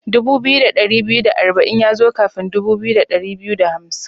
Dubu biyu da dari biyu da arba'in ya zo kafin dubu biyu da dari biyu da hamsin.